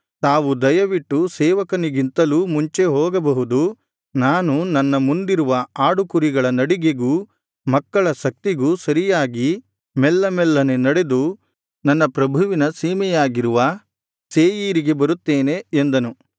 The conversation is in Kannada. ತಾವು ದಯವಿಟ್ಟು ಸೇವಕನಿಗಿಂತಲೂ ಮುಂಚೆ ಹೋಗಬಹುದು ನಾನು ನನ್ನ ಮುಂದಿರುವ ಆಡುಕುರಿಗಳ ನಡಿಗೆಗೂ ಮಕ್ಕಳ ಶಕ್ತಿಗೂ ಸರಿಯಾಗಿ ಮೆಲ್ಲಮೆಲ್ಲನೆ ನಡೆದು ನನ್ನ ಪ್ರಭುವಿನ ಸೀಮೆಯಾಗಿರುವ ಸೇಯೀರಿಗೆ ಬರುತ್ತೇನೆ ಎಂದನು